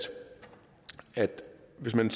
hvis man